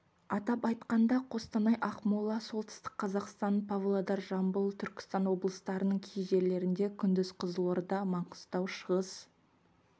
атап айтқанда қостанай ақмола солтүстік қазақстан павлодар жамбыл түркістан облыстарының кей жерлерінде күндіз қызылорда маңғыстау шығыс